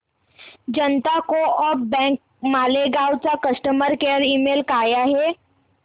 जनता co-op bank Malegaon चा customer care email काय आहे